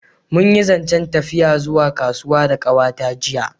Mun yi zancen tafiya zuwa kasuwa da kawa ta jiya